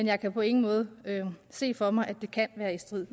jeg kan på ingen måde se for mig at det kan være i strid